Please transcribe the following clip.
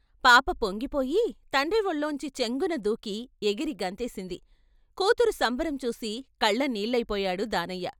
పాప పొంగిపోయి తండ్రి వాళ్లొంచి చెంగున దూకి ఎగిరి గంతేసింది కూతురు సంబరం చూసి కళ్ళ నీళ్ళయిపోయాడు దానయ్య.